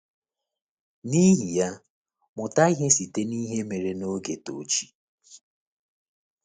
N’ihi ya, mụta ihe site n’ihe mere n’oge Tochi.